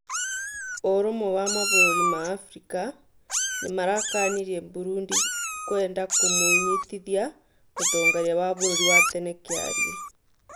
ũrumwe wa mabũrũri ma Afrika nĩmarakanirie Burundi kwenda kũmũnyitithia mũtongoria wa bũrũri wa tene Kĩarĩe